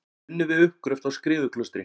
Unnið við uppgröft á Skriðuklaustri.